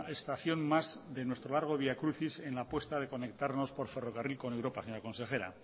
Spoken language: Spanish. estación más de nuestro largo vía crucis en la puesta de conectarnos por ferrocarril con europa señora consejera